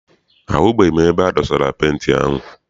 Ahụbeghị m ebe e dosara penti ahụ.